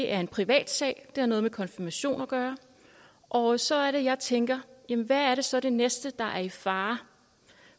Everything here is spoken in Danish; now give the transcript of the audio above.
er en privatsag det har noget med konfirmation at gøre og så er det jeg tænker jamen hvad er så det næste der er i fare